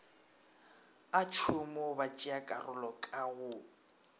a tšhomo batšeakarolo ka go